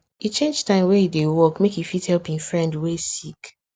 e change time wey hin dey work make e fit help hin friend wey sick